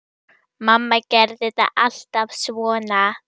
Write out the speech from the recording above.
Mamma gerði þetta alltaf svona.